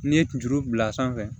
N'i ye kunjuru bila sanfɛ